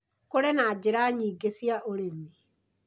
Kũrĩ na njĩra nyingĩ cia ũrĩmi.